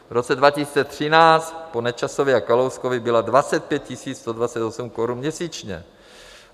V roce 2013 po Nečasovi a Kalouskovi byla 25 128 korun měsíčně.